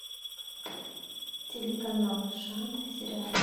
телеканал шант сериал